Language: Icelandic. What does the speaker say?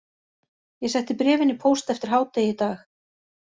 Ég setti bréfin í póst eftir hádegi í dag